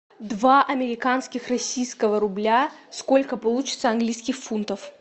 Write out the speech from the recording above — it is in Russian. два американских российского рубля сколько получится английских фунтов